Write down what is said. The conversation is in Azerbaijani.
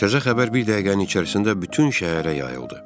Təzə xəbər bir dəqiqənin içərisində bütün şəhərə yayıldı.